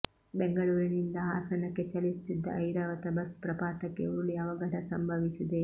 ಬೆಂಗಳೂರಿನಿಂದ ಹಾಸನಕ್ಕೆ ಚಲಿಸುತ್ತಿದ್ದ ಐರಾವತ ಬಸ್ ಪ್ರಪಾತಕ್ಕೆ ಉರುಳಿ ಅವಘಡ ಸಂಭವಿಸಿದೆ